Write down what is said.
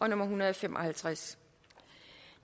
en hundrede og fem og halvtreds